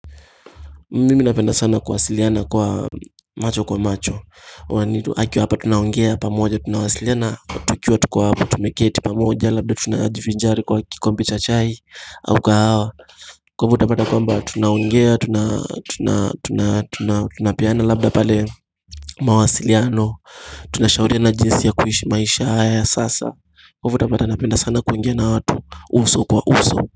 Mimi napenda sana kuwasiliana kwa macho kwa macho wanitu akiwa hapa tunaongea pamoja tunawasiliana tukiwa tuko hapa tumeketi pamoja labda tunajivinjari kwa kikombe cha chai au kahawa kwa hivyo utapata kwamba tunaongea tunapeana labda pale mawasiliano tunashauriana jinsi ya kuishi maisha haya ya sasa kwa hivyo utapata napenda sana kuongea na watu uso kwa uso.